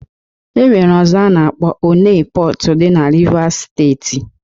E nwere ọzọ a na-akpọ Onne Pọt, dị na Rivas steeti